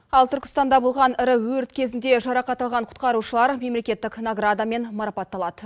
ал түркістанда болған ірі өрт кезінде жарақат алған құтқарушылар мемлекеттік наградамен марапатталады